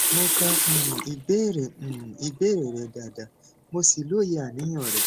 mo ka um ìbéèrè um ìbéèrè rẹ dáadáa mo sì lóye àníyàn rẹ